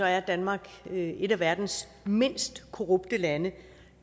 er danmark et af verdens mindst korrupte lande